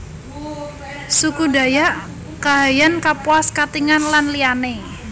Suku Dayak Kahayan Kapuas Katingan lan liyané